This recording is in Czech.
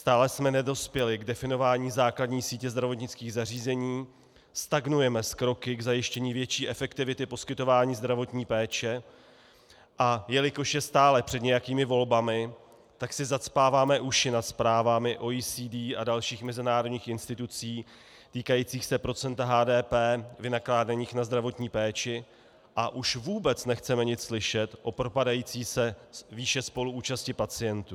Stále jsme nedospěli k definování základní sítě zdravotnických zařízení, stagnujeme s kroky k zajištění větší efektivity poskytování zdravotní péče, a jelikož je stále před nějakými volbami, tak si zacpáváme uši nad zprávami OECD a dalších mezinárodních institucí týkajícími se procenta HDP vynakládaného na zdravotní péči, a už vůbec nechceme nic slyšet o propadající se výši spoluúčasti pacientů.